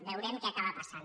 veurem què acaba passant